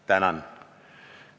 Tänan!